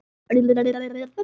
Já, sagði mamma og brosti.